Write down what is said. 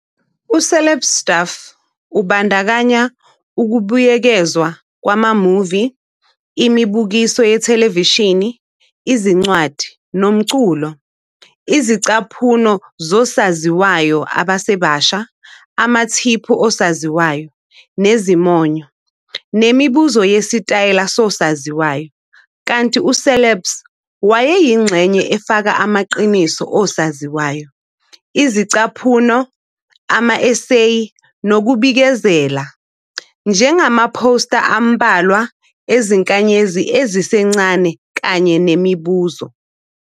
UCeleb Stuff ubandakanya ukubuyekezwa kwama-movie, imibukiso yethelevishini, izincwadi, nomculo, izingcaphuno zosaziwayo abasebasha, amathiphu osaziwayo nezimonyo, nemibuzo yesitayela sosaziwayo, kanti uCelebs wayeyingxenye efaka amaqiniso osaziwayo, izingcaphuno, ama-eseyi, nokubikezela, njengamaphosta ambalwa ezinkanyezi ezisencane kanye nemibuzo.